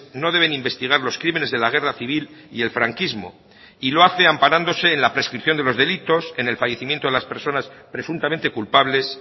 no deben investigar los crímenes de la guerra civil y el franquismo y lo hace amparándose en la prescripción de los delitos en el fallecimiento de las personas presuntamente culpables